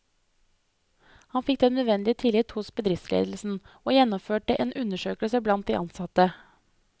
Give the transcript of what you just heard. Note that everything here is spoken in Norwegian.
Han fikk den nødvendige tillit hos bedriftsledelsen, og gjennomførte en undersøkelse blant de ansatte.